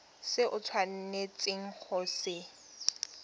se o tshwanetseng go se